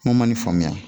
Ko ma ni faamuya